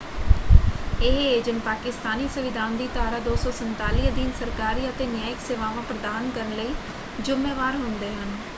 ਇਹ ਏਜੰਟ ਪਾਕਿਸਤਾਨੀ ਸੰਵਿਧਾਨ ਦੀ ਧਾਰਾ 247 ਅਧੀਨ ਸਰਕਾਰੀ ਅਤੇ ਨਿਆਇਕ ਸੇਵਾਵਾਂ ਪ੍ਰਦਾਨ ਕਰਨ ਲਈ ਜ਼ੁੰਮੇਵਾਰ ਹੁੰਦੇ ਹਨ।